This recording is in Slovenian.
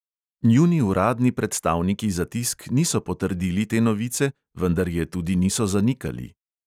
Njuni uradni predstavniki za tisk niso potrdili te novice, vendar je tudi niso zanikali.